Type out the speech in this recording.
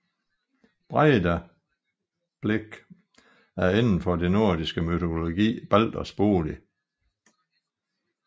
Breidablik er inden for den nordisk mytologi Balders bolig